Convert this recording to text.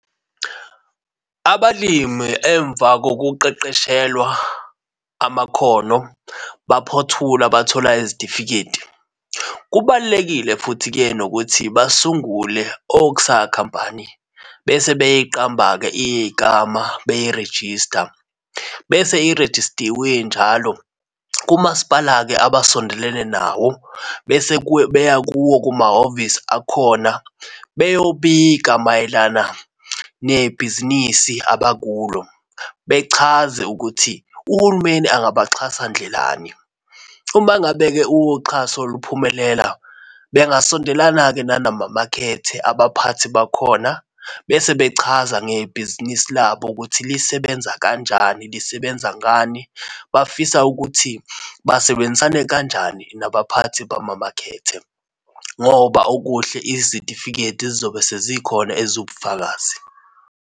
Abalimi emva kokuqeqeshelwa amakhono, baphothula bathola izitifiketi. Kubalulekile futhi-ke nokuthi basungule okusa khampani, bese beyiqamba-ke igama beyirejista bese irejistiwe injalo, kumasipala-ke abasondelene nawo, bese beya kuwo kumahhovisi akhona beyobika mayelana nebhizinisi abakulo bechaze ukuthi uhulumeni angabaxhasa ndlelani. Uma ngabe-ke uxhaso luphumelela bengasondelana-ke nanama-market, abaphathi bakhona bese bechaza ngebhizinisi labo ukuthi lisebenza kanjani lisebenza ngani. Bafisa ukuthi basebenzisane kanjani nabaphathi bamamakhethe ngoba okuhle izitifiketi zizobe sezikhona eziwubufakazi.